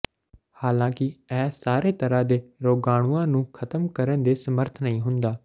ਹਾਲਾਂਕਿ ਇਹ ਸਾਰੇ ਤਰ੍ਹਾਂ ਦੇ ਰੋਗਾਣੂਆਂ ਨੂੰ ਖ਼ਤਮ ਕਰਨ ਦੇ ਸਮਰੱਥ ਨਹੀਂ ਹੁੰਦਾ